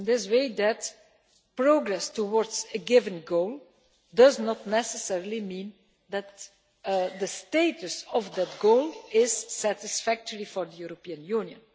In this way that progress towards a given goal does not necessarily mean that the status of that goal is satisfactory for the European Union.